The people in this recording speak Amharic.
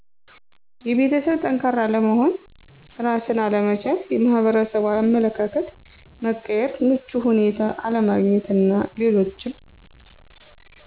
የቤተሠብ ጠንካራ አለመሆን፣ እራስን አለመቻል፣ የሕብረተሠቡ አመለካከት መቀየር፣ ምቹ ሁኔታ አለማግኘት አና ሌሎችም